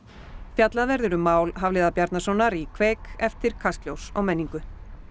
fjallað verður um mál Hafliða Bjarnasonar í eftir Kastljós og menningu